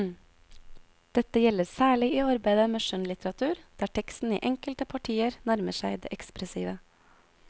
Dette gjelder særlig i arbeidet med skjønnlitteratur, der teksten i enkelte partier nærmer seg det ekspressive.